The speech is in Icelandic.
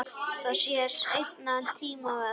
Það sé seinni tíma verk.